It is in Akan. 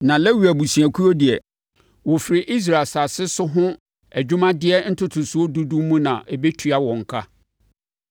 “Na Lewi abusuakuo deɛ, wɔfiri Israel asase so ho adwumadeɛ ntotosoɔ dudu no mu na ɛbɛtua wɔn ka.